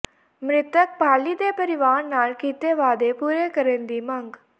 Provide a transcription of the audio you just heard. ਮਿ੍ਤਕ ਪਾਲੀ ਦੇ ਪਰਿਵਾਰ ਨਾਲ ਕੀਤੇ ਵਾਅਦੇ ਪੂਰੇ ਕਰਨ ਦੀ ਮੰਗ